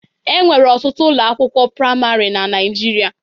Enwere ọtụtụ ụlọ akwụkwọ praimarị na Naijiria.